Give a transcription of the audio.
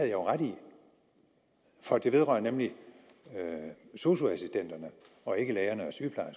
jo ret i for det vedrører nemlig sosu assistenterne og ikke lægerne